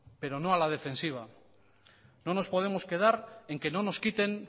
pero no a la defensiva no nos podemos quedar en que no nos quiten